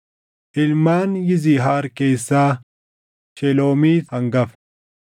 Ilmaan Yizihaar keessaa: Sheloomiit hangafta.